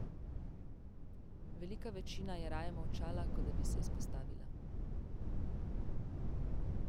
Velika večina je raje molčala, kot da bi se izpostavila.